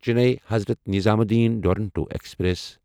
Chennai Hazrat Nizamuddin Duronto express